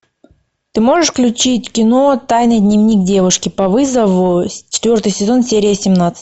ты можешь включить кино тайный дневник девушки по вызову четвертый сезон серия семнадцать